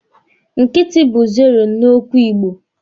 Nkịtị bu zero n'okwu igbo.